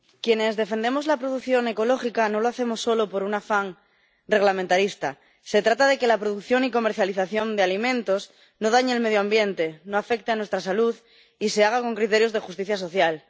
Señor presidente, quienes defendemos la producción ecológica no lo hacemos solo por un afán reglamentarista se trata de que la producción y comercialización de alimentos no dañe el medio ambiente, no afecte a nuestra salud y se haga con criterios de justicia social.